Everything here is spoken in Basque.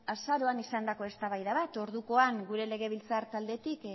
azaroan izandako eztabaida bat ordukoan gure legebiltzar taldetik